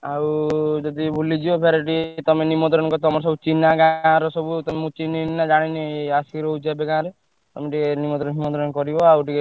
ଆଉ ଯଦି ଭୁଲି ଯିବ ଫେରେ ଟିକେ ତମେ ନିମନ୍ତ୍ରଣ ତମର ସବୁ ଚିହ୍ନା ଗାଁ ର ସବୁ ତମୁକୁ ଚିହ୍ନିଛନ୍ତି ନା ଜାଣିଛନ୍ତି ଆସିକି ରହୁଛ ଏବେ ଗାଁରେ। ତମେ ଟିକେ ନିମନ୍ତ୍ରଣ ଫିମନ୍ତ୍ରଣ କରିବ ଆଉ ଟିକେ।